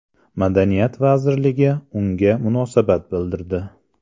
Madaniyat vazirligi unga munosabat bildirdi .